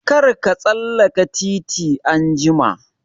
Kar ka tsallaka titi anjima!